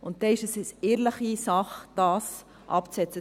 Dann ist es eine ehrliche Sache, das abzusetzen.